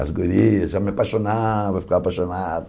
As gurias já me apaixonava, eu ficava apaixonado.